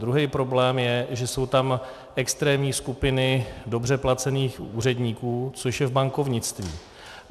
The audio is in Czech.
Druhý problém je, že jsou tam extrémní skupiny dobře placených úředníků, což je v bankovnictví.